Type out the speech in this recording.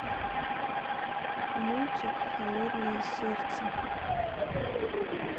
мультик холодное сердце